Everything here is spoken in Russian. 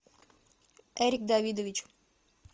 эрик давидович